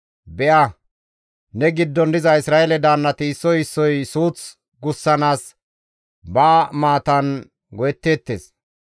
« ‹Be7a, ne giddon diza Isra7eele daannati issoy issoy suuth gussanaas ba maatan go7etteettes.